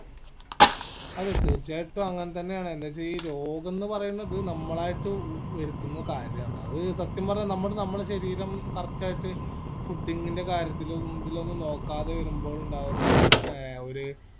അതെ തീർച്ചയായിട്ടും അങ്ങനെ തന്നെ ആണ് എന്നീച്ച ഈ രോഗന്ന് പറയണത് നമ്മളായിട്ട് ഏർ വരിത്തിന്ന കാര്യാണ് അത് സത്യം പറഞ്ഞാ നമ്മള് നമ്മളെ ശരീരം correct ആയിട്ട് fooding ന്റെ കാര്യത്തിലും ഇതിലൊന്നും നോക്കാതെ വരുമ്പോൾ ഇണ്ടാവുന്ന ഏർ ഒര്